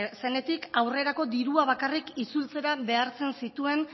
zenetik aurrerako dirua bakarrik itzultzera behartzen zituen